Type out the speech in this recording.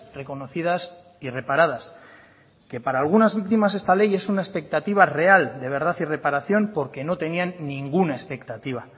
reconocidas y reparadas que para algunas víctimas esta ley es una expectativa real de verdad y reparación porque no tenían ninguna expectativa